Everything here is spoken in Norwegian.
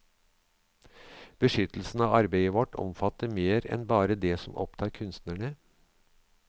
Beskyttelsen av arbeidet vårt omfatter mer enn bare det som opptar kunstnerne.